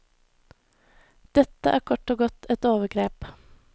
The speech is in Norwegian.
Dette er kort og godt et overgrep.